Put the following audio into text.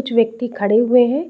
कुछ व्यक्ति खड़े हुए है